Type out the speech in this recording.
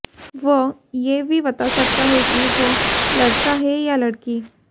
वह यह भी बता सकता है कि वह लड़का है या लड़की